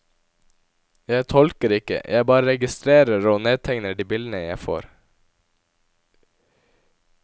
Jeg tolker ikke, jeg bare registrerer og nedtegner de bildene jeg får.